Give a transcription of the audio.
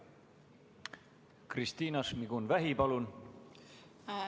Kristina Šmigun-Vähi, palun!